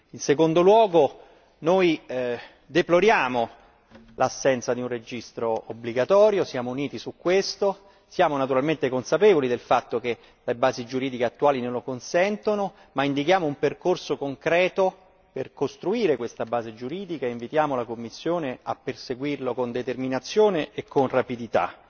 In secondo luogo, deploriamo l'assenza di un registro obbligatorio e su questo punto siamo tutti uniti. Siamo ovviamente consapevoli del fatto che le basi giuridiche attuali non lo consentono, ma indichiamo un percorso concreto per costruire questa base giuridica e invitiamo la Commissione a perseguirlo con determinazione e rapidità.